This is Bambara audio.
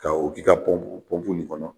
Ka o k'i ka nin kɔnɔ.